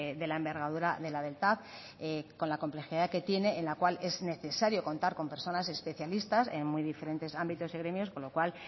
de la envergadura de la del tav con la complejidad que tiene en la cual es necesario contar con personas especialistas en muy diferentes ámbitos y gremios con lo cual